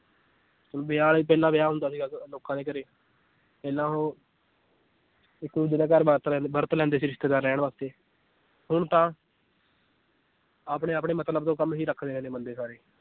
ਹੁਣ ਪਹਿਲਾਂ ਵਿਆਹ ਹੁੰਦਾ ਸੀਗਾ ਲੋਕਾਂ ਦੇ ਘਰੇ ਪਹਿਲਾਂ ਉਹ ਇੱਕ ਦੂਜੇ ਵਰਤ ਲੈਂਦੇ ਵਰਤ ਲੈਂਦੇ ਰਹਿਣ ਵਾਸਤੇ ਹੁਣ ਤਾਂ ਆਪਣੇ ਆਪਣੇ ਮਤਲਬ ਤੋਂ ਕੰਮ ਹੀ ਰੱਖਦੇ ਨੇ ਬੰਦੇ ਸਾਰੇ।